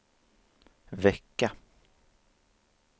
vecka